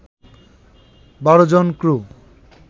১২ জন ক্রু